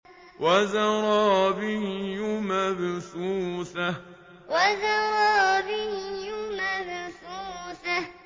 وَزَرَابِيُّ مَبْثُوثَةٌ وَزَرَابِيُّ مَبْثُوثَةٌ